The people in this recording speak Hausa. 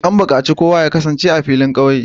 An bukaci kowa ya kasance a filin kauye!